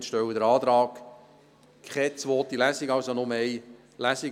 Wir stellen den Antrag, keine zweite Lesung durchzuführen, sondern nur eine Lesung.